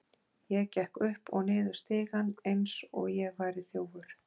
Ég gekk upp og niður stigann eins og ég væri þjófur.